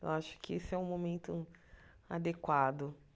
Eu acho que esse é o momento adequado.